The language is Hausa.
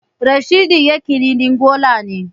Rashidi Yakini ɗin gola ne